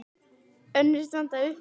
Önnur standa upp úr.